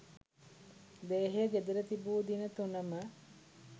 දේහය ගෙදර තිබූ දින තුනම